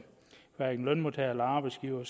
hverken lønmodtagere eller arbejdsgivere